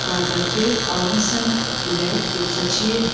Yuxarıdakı, alın səmt, ürək, yoxsa çiyin.